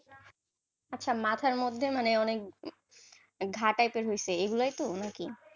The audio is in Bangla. আচ্ছা মাথার মধ্যে অনেক ঘা type এর হয়েছে এগুলাই তো নাকি,